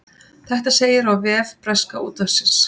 Þetta segir á vef breska útvarpsins